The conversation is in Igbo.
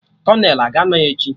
Kolonel a ga-anọ echi?